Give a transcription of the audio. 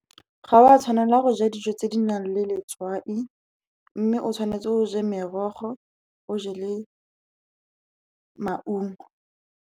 Ga wa tshwanela go ja dijo tse di nang le letswai, mme o tshwanetse o je merogo, o je le maungo.